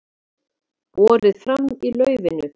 Borið fram í laufinu